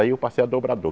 Aí eu passei a dobrador.